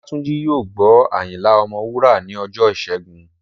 Olátúnjí yóò gbọ́ Ayinla ọmọ Wúrà ní ọjọ́ ìṣẹ́gun